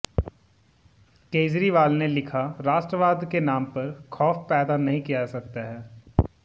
केजरीवाल ने लिखा राष्ट्रवाद के नाम पर खौफ पैदा नहीं किया जा सकता